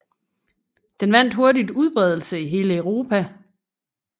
Den vandt hurtigt udbredelse i hele Europa